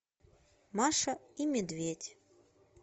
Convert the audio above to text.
маша и медведь